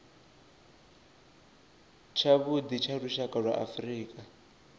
tshavhuḓi tsha lushaka lwa afrika